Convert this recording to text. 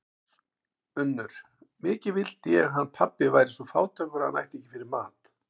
UNNUR: Mikið vildi ég hann pabbi væri svo fátækur að hann ætti ekki fyrir mat.